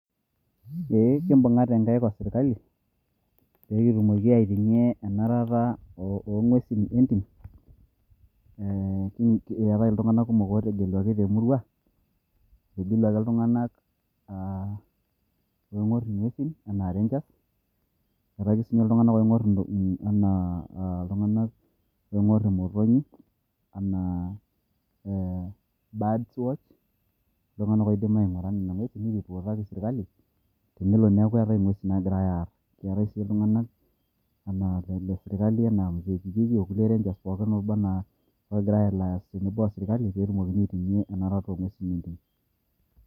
Ee kibung'ate nkaik o sirkali, pe kitumoki aitung'ie enarata o ng'uesin etim. Etae iltung'anak kumok otegeluaki temurua, etegeluaki iltung'anak oing'or ing'uesin enaa renjas, etae ake sinye iltung'anak oing'or enaa imotonyi, enaa birds watch. Iltung'anak oidim aing'ura nena ng'uesin esirkali. Nelo neeku eetae ing'uesin nagirai aar. Etae si iltung'anak enaa le sirkali enaa mzee kijiji, okulie renjas pookin obanaa ogira a lias tenebo o sirkali petumokini aiting'ie enarata o ng'uesin.